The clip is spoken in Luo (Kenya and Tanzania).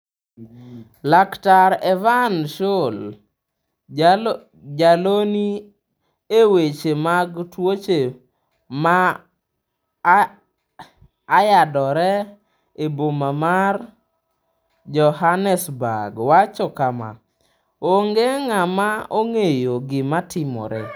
Laktar Evan Shoul, jalony e weche mag tuoche ma ayadore e boma ma Johannesburg wacho kama: "Onge ng'ama ong'eyo gima timore."